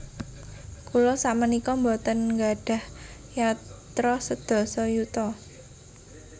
Kula sakmenika mboten nggadhah yatra sedasa yuta